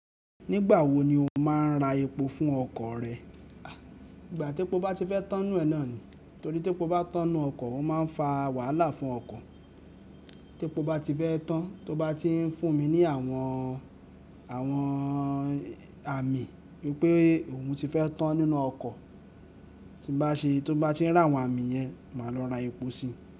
Nígbà wo ni o máa ń ra epo fún ọkọ̀ rẹ? Ìgbà tí epo bá ti fẹ́ tán nú ẹ naa ni. Torí tí epo bá tan nú ọkọ̀, ó máa ń fa wàhálà fún ọkọ̀. Tí epo bá ti fẹ́ tán, tó bá ti ń fún mi ní àwọn, àwọn àmì wi pé òun ti fẹ́ tán nínú ọkọ̀, tí bá ṣe, tó bá ti ń rà àwọn àmì yẹn, màá lọ ra epo si.